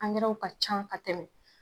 Ankɛraw ka can ka tɛmɛ.